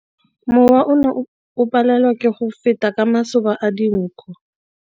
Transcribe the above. Mowa o ne o palelwa ke go feta ka masoba a dinko.